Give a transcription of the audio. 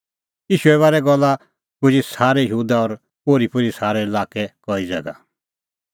ईशूए बारै ईंयां गल्ला पुजी सारै यहूदा और ओरीपोरी सारै लाक्कै कई ज़ैगा